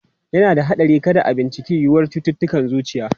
Yana da haɗari kada a bincika yiwuwar cututtukan zuciya.